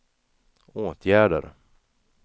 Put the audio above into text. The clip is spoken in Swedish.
åtgärder